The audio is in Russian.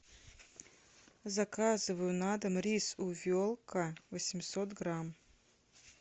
заказываю на дом рис увелка восемьсот грамм